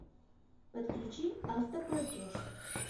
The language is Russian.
подключи автоплатеж